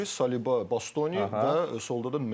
Dumfries, Saliba, Bastoni və solda da Mendes.